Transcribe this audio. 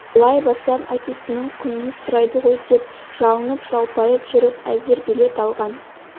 былай барсам әкесінің құнын сұрайды ғой деп жалынып-жалпайып жүріп әзер билет алған